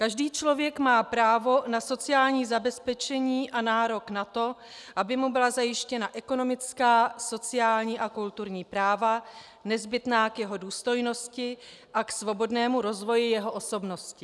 Každý člověk má právo na sociální zabezpečení a nárok na to, aby mu byla zajištěna ekonomická, sociální a kulturní práva nezbytná k jeho důstojnosti a k svobodnému rozvoji jeho osobnosti.